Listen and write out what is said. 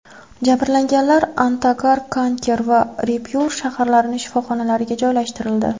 Jabrlanganlar Antagar, Kanker va Raypur shaharlarining shifoxonalariga joylashtirildi.